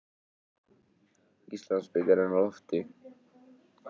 Íslandsbikarinn á lofti